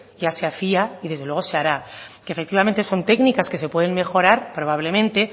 ya se hacía y desde luego se hará que efectivamente son técnicas que se pueden mejorar probablemente